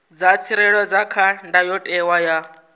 dza tsireledzwa kha ndayotewa ya